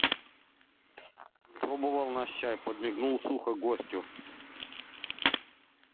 пробовал наш чай подмигнул сухо гостю